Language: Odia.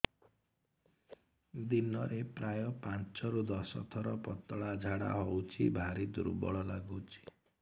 ଦିନରେ ପ୍ରାୟ ପାଞ୍ଚରୁ ଦଶ ଥର ପତଳା ଝାଡା ହଉଚି ଭାରି ଦୁର୍ବଳ ଲାଗୁଚି